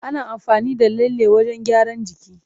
Ana amfani da lalle wajen gyaran jiki.